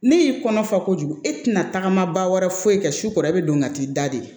Ne y'i kɔnɔ fa kojugu e tɛna tagama ba wɛrɛ foyi kɛ sukoro e be don ka t'i da de